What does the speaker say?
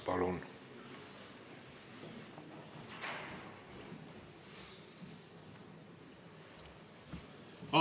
Palun!